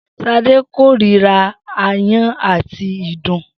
S̩adé kóríra aáyán àti ìdun